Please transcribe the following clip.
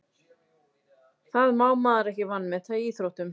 Það má maður ekki vanmeta í íþróttum.